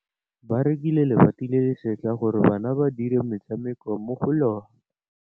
Ba rekile lebati le le setlha gore bana ba dire motshameko mo go lona.